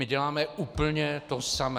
My děláme úplně to samé.